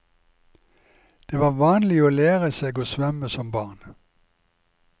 Det var vanlig å lære seg å svømme som barn.